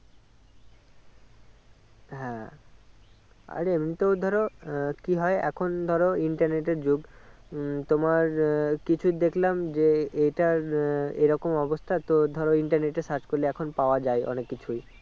হ্যাঁ আর এমনিতে ধরো আহ কি হয় এখন ধরো internet এর যুগ উম তোমার আহ কিছু দেখলাম যে এইটার আহ এইরকম অবস্থা তো ধরো internet এ search করলে এখন পাওয়া যাই অনেক কিছু